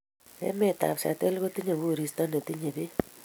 Emetab Seattle kotinye koristo netinyei beek